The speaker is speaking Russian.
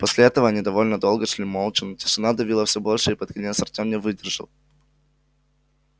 после этого они довольно долго шли молча но тишина давила все больше и под конец артем не выдержал